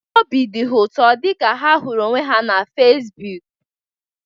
Obi dị ha ụtọ oge ha hụrụ onwe ha na Fesbụụk